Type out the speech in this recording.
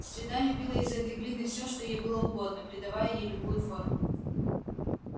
среда лепила из этой глины все что ей было угодно придавая ей любую форму